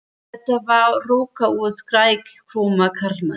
Þetta var roka úr skrækróma karlmanni.